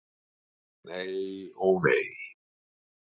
Nei, ó nei.